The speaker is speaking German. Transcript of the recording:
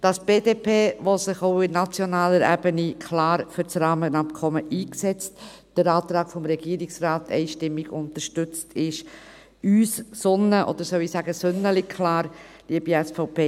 Dass die BDP, die sich auch auf nationaler Ebene klar für das Rahmenabkommen einsetzt, den Antrag des Regierungsrates einstimmig unterstützt, ist für uns sonnen- oder, soll ich sagen, «sünneli»-klar, liebe SVP!